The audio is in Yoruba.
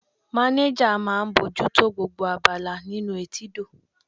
Manager máà ń bójú tó gbogbo abala nínú etídò.